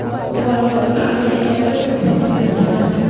Buxoroda bir ayol ijarada turgan uyini tunadi.